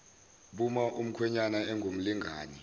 buma umkhwenyana engumlingani